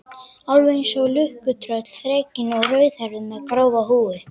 Alveg einsog lukkutröll, þrekinn og rauðhærður, með grófa húð.